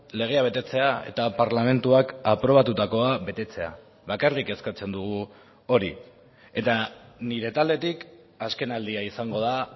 legea betetzea eta parlamentuak aprobatutakoa betetzea bakarrik eskatzen dugu hori eta nire taldetik azken aldia izango da